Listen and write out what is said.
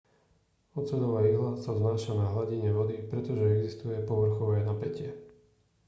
oceľová ihla sa vznáša na hladine vody pretože existuje povrchové napätie